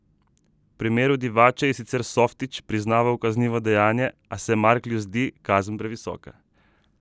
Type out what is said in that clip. V primeru Divače je sicer Softić priznal kaznivo dejanje, a se Marklju zdi kazen previsoka.